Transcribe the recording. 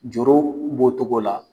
Joro b'o cogo la.